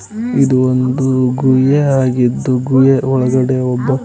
ಇದು ಒಂದು ಗುಹೆ ಆಗಿದ್ದು ಗುಹೆಯ ಒಳಗಡೆ ಒಬ್ಬ--